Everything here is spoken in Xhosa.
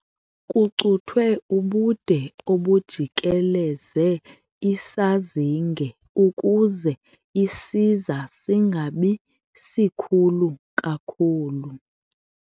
Kucuthwe ubude obujikeleze isazinge ukuze isiza singabi sikhulu kakhulu.